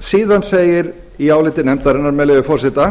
síðan segir í áliti nefndarinnar með leyfi forseta